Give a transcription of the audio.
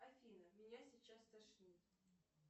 афина меня сейчас стошнит